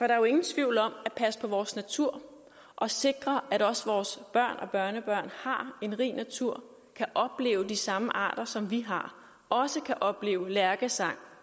er jo ingen tvivl om at passe på vores natur og sikre at også vores børn og børnebørn har en rig natur og kan opleve de samme arter som vi har og også kan opleve lærkesang